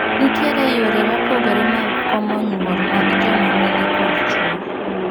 Nitie yore mopogore mag komo nyuol mag joma mine kod chwo.